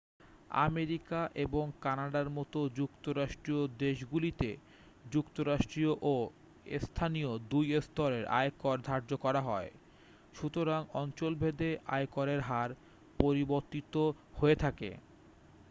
America এবং কানাডার মতো যুক্তরাষ্ট্রীয় দেশগুলিতে যুক্তরাষ্ট্রীয় ও স্থানীয় দুই স্তরেই আয়কর ধার্য করা হয় সুতরাং অঞ্চলভেদে আয়করের হার পরিবর্তিত হয়ে থাকে